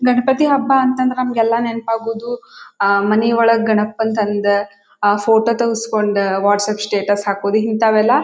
ಗಣಪತಿ ಹಬ್ಬ ಅಂತ ಅಂದ್ರೆ ನಮಿಗೆಲ್ಲಾ ನೆನಪು ಆಗೋದು ಅಹ್ ಮನಿ ಒಳಗೆ ಗಣಪನ ತಂದ ಅಹ್ ಫೋಟೋ ತಗಿಸಿಕೊಂಡ ವಾಟ್ಸಪ್ಪ್ ಸ್ಟೇಟಸ್ ಹಾಕೋದು ಇಂತವೆಲ್ಲಾ--